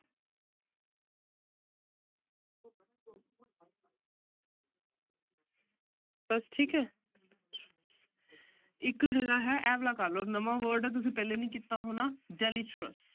ਬਸ ਠੀਕ ਹੈ ਇੱਕ ਹੈਗਾ ਹੈ ਇਹ ਵਾਲਾ ਕਰ ਲਓ ਨਵਾਂ word ਆ ਤੁਸੀਂ ਪਹਿਲੇ ਨਹੀਂ ਕੀਤਾ ਹੋਣਾ deleterious